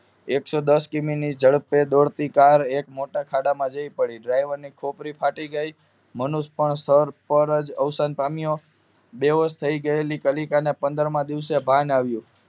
એક સો દસ કિમી ઝડપે દોડતી કાર એક મોટા ખાડામાં જઈ પડી ડ્રાઇવરની ખોપડી ફાટી ગઈ અને માનુસ પણ સ્થળ પર જ અવસાન પામ્યો બેહોશ થયેલી ગયેલી કલીકા ને પંદર મા દિવસે ભાન આવયું